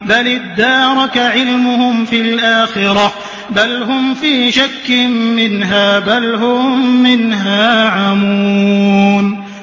بَلِ ادَّارَكَ عِلْمُهُمْ فِي الْآخِرَةِ ۚ بَلْ هُمْ فِي شَكٍّ مِّنْهَا ۖ بَلْ هُم مِّنْهَا عَمُونَ